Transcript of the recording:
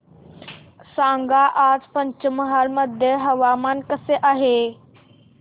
सांगा आज पंचमहाल मध्ये हवामान कसे आहे